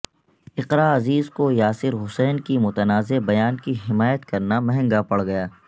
اقرا عزیز کو یاسر حسین کے متنازع بیان کی حمایت کرنا مہنگا پڑ گیا